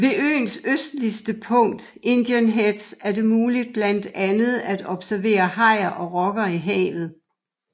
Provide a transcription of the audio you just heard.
Ved øens østligste punkt Indian Heads er det muligt blandt andet at observere hajer og rokker i havet